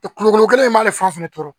kulukoro in b'ale fan bɛɛ tɔɔrɔ